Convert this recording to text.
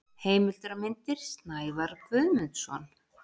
Heimildir og myndir: Snævarr Guðmundsson.